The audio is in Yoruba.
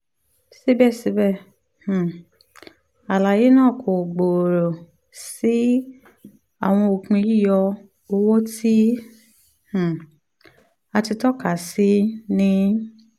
sibẹsibẹ um alaye naa ko gbooro si awọn opin yiyọ owo ti um a ti tọka si ni